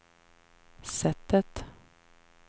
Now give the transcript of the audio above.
sättet